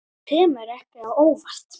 Þetta kemur ekki á óvart.